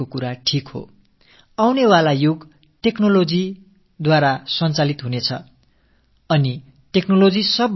இனிவரும் காலகட்டம் தொழில்நுட்பத்தால் இயங்குவது தொழில்நுட்பமானது அதிகம் நிலையில்லாத ஒன்று